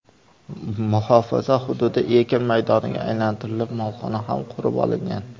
Muhofaza hududi ekin maydoniga aylantirilib, molxona ham qurib olingan.